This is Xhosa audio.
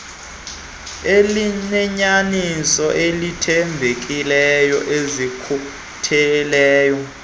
elineyaniso elithembekileyo elikhutheleyo